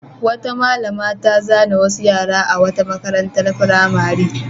Wata malama ta zane wasu yara a wata makarantar firamare.